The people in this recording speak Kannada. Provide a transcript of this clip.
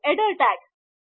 ಹೇಳುತ್ತಿದ್ದಿನಿ